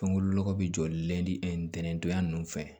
Fɛn wolokɔ bɛ jɔ len tɛntɛndonya ninnu fɛ